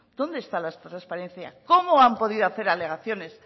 dónde está la transparencia cómo han podido hacer alegaciones